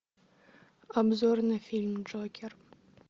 обзор на фильм джокер